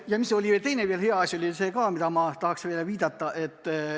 Ja oli teinegi hea asi, millele ma tahan viidata.